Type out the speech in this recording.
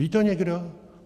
Ví to někdo?